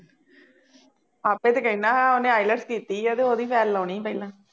ਆਪੇ ਤਾਂ ਕਹਿੰਦਾ ਸਾਂ ਉਹਨੇ IELTS ਕੀਤੀ ਆ ਅਤੇ ਉਹਦੀ file ਲਾਉਣੀ ਪਹਿਲਾਂ